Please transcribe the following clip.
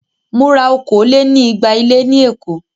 Mo ra okòó-lé-ní-igba ilé ní Èkó.